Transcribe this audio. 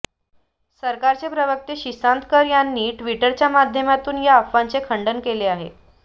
सरकारचे प्रवक्ते सितांश कर यांनी ट्विटरच्या माध्यमातून या अफवांचे खंडन केले आहे